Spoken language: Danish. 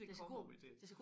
Det kommer vi til